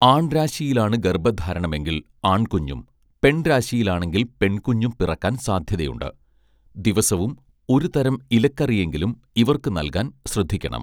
ആൺരാശിയിലാണ് ഗർഭധാരണമെങ്കിൽ ആൺകുഞ്ഞും പെൺരാശിയിലാണെങ്കിൽ പെൺകുഞ്ഞും പിറക്കാൻ സാധ്യതയുണ്ട് ദിവസവും ഒരുതരം ഇലക്കറിയെങ്കിലും ഇവർക്കു നൽകാൻ ശ്രദ്ധിക്കണം